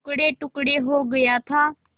टुकड़ेटुकड़े हो गया था